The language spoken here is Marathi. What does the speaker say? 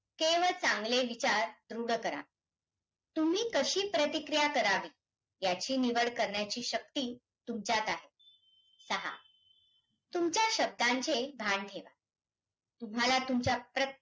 येत दोनशे त्रेचालीस I आणि दोनशे त्रेचालीस Y हे कलम टाकून प्रत्येक राज्यासाठी वित्तआयोग हा राज्यघटनेने निर्माण केला. जर महाराष्ट्र राज्याचा